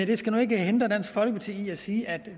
det skal nu ikke hindre dansk folkeparti i at sige at